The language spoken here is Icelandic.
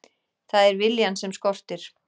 Það er viljann sem skortir.